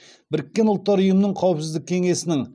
біріккен ұлттар ұйымының қауіпсіздік кеңесінің